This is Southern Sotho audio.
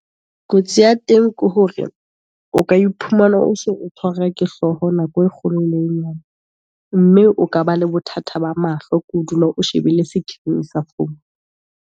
Kotsi ya teng ke hore, o ka iphumana o so o tshwarwa ke hlooho nako e kgolo le nyane. Mme o ka ba le bothata ba mahlo, ke ho dula o shebile screen sa phone.